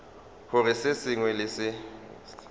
gore se sengwe le se